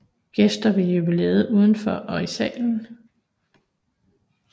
Gæster ved jubilæet udenfor og i salen